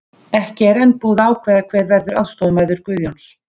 Ekki er enn búið að ákveða hver verður aðstoðarmaður Guðjóns.